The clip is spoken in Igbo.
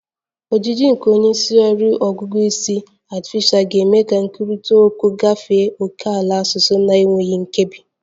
Ojiji nke onye nsụgharị ọgụgụ isi artificial ga-eme ka nkwurịta okwu gafee ókèala asụsụ na-enweghị nkebi